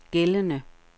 gældende